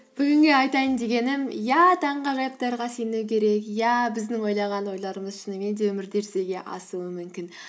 бүгінгі айтайын дегенім иә таңғажайыптарға сену керек иә біздің ойлаған ойларымыз шынымен де өмірде жүзеге асуы мүмкін